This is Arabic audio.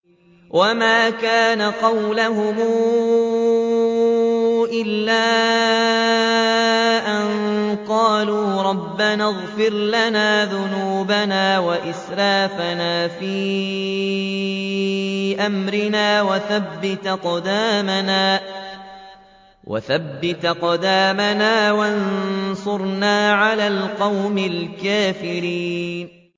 وَمَا كَانَ قَوْلَهُمْ إِلَّا أَن قَالُوا رَبَّنَا اغْفِرْ لَنَا ذُنُوبَنَا وَإِسْرَافَنَا فِي أَمْرِنَا وَثَبِّتْ أَقْدَامَنَا وَانصُرْنَا عَلَى الْقَوْمِ الْكَافِرِينَ